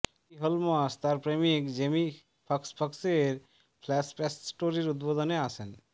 ক্যাটি Holmes তার প্রেমিক Jamie ফক্সক্সের ফ্ল্যাশপ্যাশ স্টোরের উদ্বোধনে আসেন